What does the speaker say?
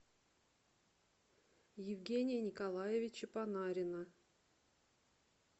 евгения николаевича панарина